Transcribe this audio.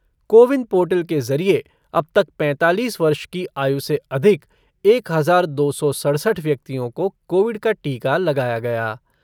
CoWIN portal के ज़रिए अब तक पैंतालीस वर्ष की आयु से अधिक एक हज़ार दो सौ सढ़सठ व्यक्तियों को कोविड का टीका लगाया गया।